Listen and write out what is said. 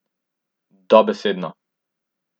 Dobesedno.